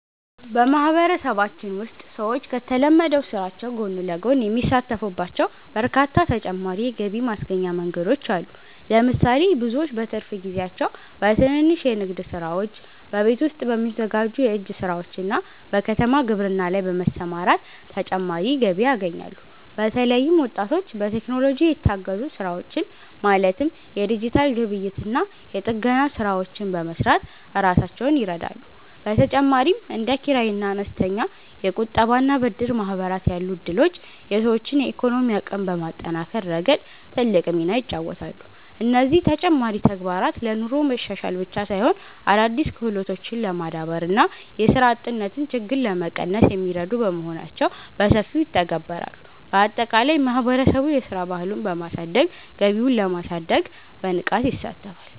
በማህበረሰባችን ውስጥ ሰዎች ከተለመደው ስራቸው ጎን ለጎን የሚሳተፉባቸው በርካታ ተጨማሪ የገቢ ማስገኛ መንገዶች አሉ። ለምሳሌ፣ ብዙዎች በትርፍ ጊዜያቸው በትንንሽ የንግድ ስራዎች፣ በቤት ውስጥ በሚዘጋጁ የእጅ ስራዎችና በከተማ ግብርና ላይ በመሰማራት ተጨማሪ ገቢ ያገኛሉ። በተለይም ወጣቶች በቴክኖሎጂ የታገዙ ስራዎችን ማለትም የዲጂታል ግብይትና የጥገና ስራዎችን በመስራት ራሳቸውን ይረዳሉ። በተጨማሪም እንደ ኪራይና አነስተኛ የቁጠባና ብድር ማህበራት ያሉ እድሎች የሰዎችን የኢኮኖሚ አቅም በማጠናከር ረገድ ትልቅ ሚና ይጫወታሉ። እነዚህ ተጨማሪ ተግባራት ለኑሮ መሻሻል ብቻ ሳይሆን፣ አዳዲስ ክህሎቶችን ለማዳበርና የስራ አጥነትን ችግር ለመቀነስ የሚረዱ በመሆናቸው በሰፊው ይተገበራሉ። ባጠቃላይ ማህበረሰቡ የስራ ባህሉን በማሳደግ ገቢውን ለማሳደግ በንቃት ይሳተፋል።